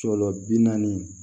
Sɔlɔ bi naani